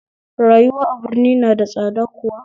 Rayuwa a birni na da tsada kuwa?